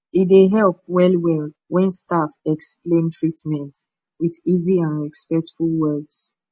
e dey help well well when staff explain treatment with easy and respectful words